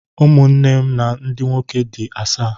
Ụmụnne nna m ndị nwoke dị asaa